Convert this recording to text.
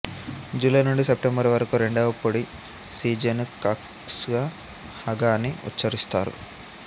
July నుండి September వరకు రెండవ పొడి సీజను క్సాగా హగా అని ఉచ్ఛరిస్తారు